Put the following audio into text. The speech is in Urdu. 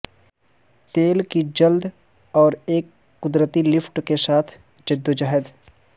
تیل کی جلد اور ایک قدرتی لفٹ کے ساتھ جدوجہد